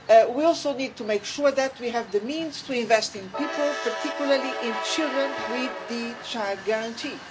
We also need to make sure that we have the means to invest in people, particularly in children with the Child Guarantee'.